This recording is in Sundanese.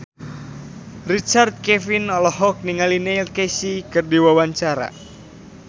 Richard Kevin olohok ningali Neil Casey keur diwawancara